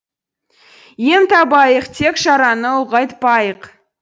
ем табайық тек жараны ұлғайтпайық